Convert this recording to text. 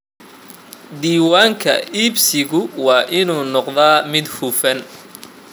Diiwaanka iibsigu waa inuu noqdaa mid hufan.